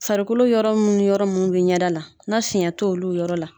Farikolo yɔrɔ mun yɔrɔ mun bi ɲɛda la na fiɲɛ t'olu yɔrɔ la